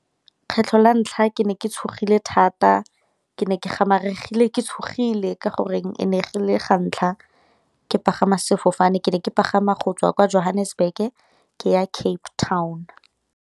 Kgetlho la ntlha ke ne ke tshogile thata ke ne ke gamaregile ke tshogile, ka gore e ne e le ga ntlha ke pagama sefofane ke ne ke pagama go tswa kwa Johannesburg ke ya Cape Town.